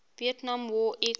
vietnam war aircraft